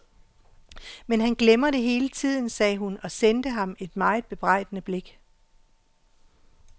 Men han glemmer det hele tiden, sagde hun og sendte ham et meget bebrejdende blik.